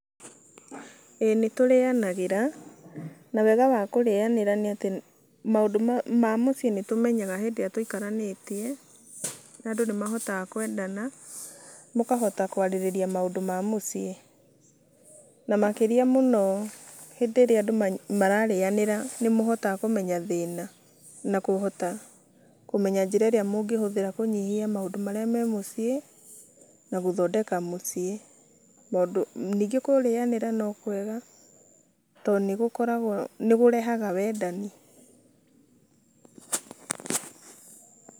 Ĩĩ nĩtũrĩanagĩra. Na wega wa kũrĩanĩra nĩ atĩ maũndũ ma mũciĩ nĩtũmenyaga hĩndĩ ĩrĩa tũikaranĩtie, na andũ nĩmahotaga kwendana, mũkahota kũarĩrĩria maũndũ ma mũciĩ na makĩria mũno hĩndĩ ĩrĩa andũ mararĩanĩra nĩmũhotaga kũmenya thĩna na kũhota kũmenya njĩra ĩrĩa mũngĩhũthĩra kũnyihia maũndũ marĩa me mũciĩ, na guthondeka mũciĩ tondũ nĩnge kũrĩanĩra no kwega to nĩgũkoragwo nĩkũrehaga wendani.